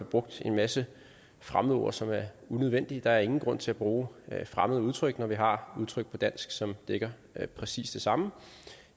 brugt en masse fremmedord som er unødvendige der er ingen grund til at bruge fremmede udtryk når vi har udtryk på dansk som dækker præcis det samme